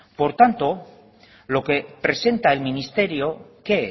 por tanto lo que presenta el ministerio qué